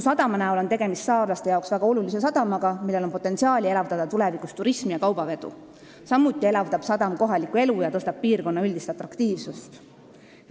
See on saarlastele väga oluline sadam, millel on potentsiaali elavdada tulevikus turismi ja kaubavedu, samuti elavdab sadam kohalikku elu ja suurendab piirkonna üldist atraktiivsust.